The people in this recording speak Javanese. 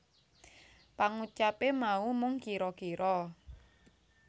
Pangucape mau mung kira kira